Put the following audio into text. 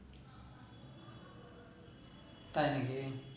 তাই না কি